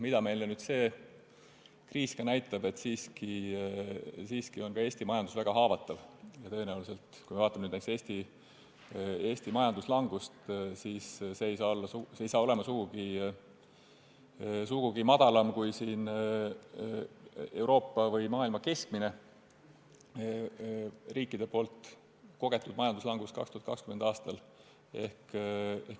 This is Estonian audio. Nüüdne kriis näitas meile aga seda, et ka Eesti majandus on väga haavatav, ja kui vaatame näiteks Eesti majanduslangust, siis tõenäoliselt ei saa see olema sugugi väiksem kui Euroopa või muu maailma riikide kogetud keskmine majanduslangus 2020. aastal.